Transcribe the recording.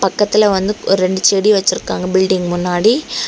பக்கத்துல வந்து ஒரு ரெண்டு செடி வச்சிருக்காங்க பில்டிங் முன்னாடி.